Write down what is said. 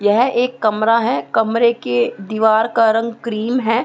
यह एक कमरा है कमरे के दिवार का रंग क्रीम है।